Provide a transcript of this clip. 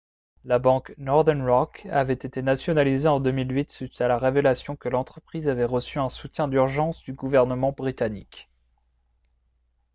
la banque northern rock avait été nationalisée en 2008 suite à la révélation que l'entreprise avait reçu un soutien d'urgence du gouvernement britannique